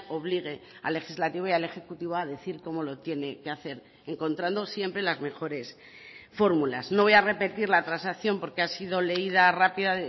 obligue al legislativo y al ejecutivo a decir cómo lo tiene que hacer encontrando siempre las mejores fórmulas no voy a repetir la transacción porque ha sido leída rápida